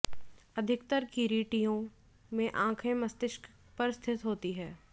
अधिकतर किरीटियों में आँखें मस्तिष्क पर स्थित होती हैं